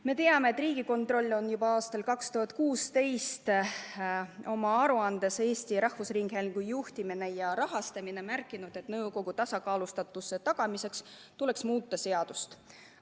Me teame, et Riigikontroll on juba aastal 2016 oma aruandes "Eesti Rahvusringhäälingu juhtimine ja rahastamine" märkinud, et nõukogu tasakaalustatuse tagamiseks tuleks muuta seadust.